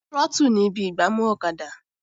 Trọ́tù ni ibi ìgbámú ọ̀kadà